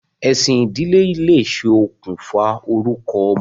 Ẹ̀sìn ìdílé lè ṣe okùnfà orúkọ ọmọ.